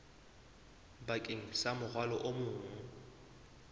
bakeng sa morwalo o mong